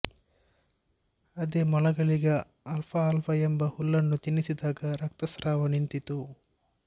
ಅದೇ ಮೊಲಗಳಿಗೆ ಆಲ್ಫಾಆಲ್ಫಾ ಎಂಬ ಹುಲ್ಲನ್ನು ತಿನ್ನಿಸಿದಾಗ ರಕ್ತಸ್ರಾವ ನಿಂತಿತು